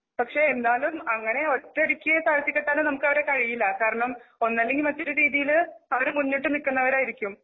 പക്ഷെ എന്താന്ന് അങ്ങനെ ഒറ്റയടിക്ക്താഴ്ത്തികെട്ടാനൊ നമുക്ക് അവരെ കഴിയില്ല. കാരണം ഒന്നല്ലെങ്കിൽ മറ്റൊരു രീതിയില് അവര് മുന്നിട്ടു നിൽക്കുന്നവരായിരിക്കും.